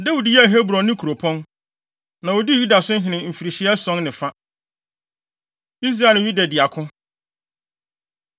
Dawid yɛɛ Hebron ne kuropɔn. Na odii Yuda so hene mfirihyia ason ne fa. Israel Ne Yuda Di Ako